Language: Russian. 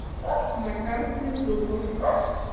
на карте зубоф